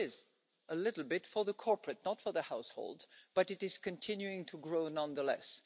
Yes, it is a little bit for the corporate, not for the households but it is continuing to grow nonetheless.